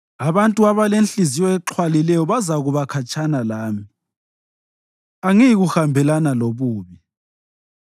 Abantu abalenhliziyo exhwalileyo bazakuba khatshana lami; angiyikuhambelana lobubi.